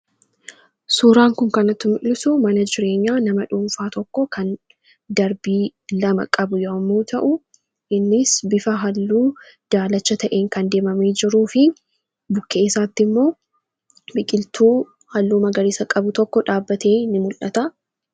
Suuraan kun kan nutti mul'isu mana jireenyaa nama dhuunfaa tokko kan darbii lama qabu yemmuu ta'u; Innis bifa halluu daalacha ta'een kan dibamee jiruufi bukkee isaatti immoo biqiltuu halluu magariisa qabu tokko dhaabbatee inmul'ata.